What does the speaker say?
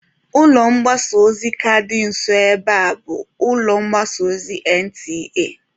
Ụlọ mgbasa ozi ka dị nso ebe a bụ ụlọ mgbasa ozi NTA.